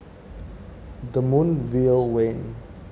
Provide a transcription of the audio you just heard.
The moon will wane